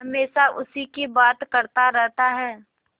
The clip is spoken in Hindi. हमेशा उसी की बात करता रहता है